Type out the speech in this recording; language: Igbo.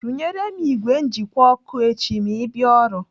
Rụnyere m ìgwè njikwa ọkụ echi ma ị bịa ọrụ.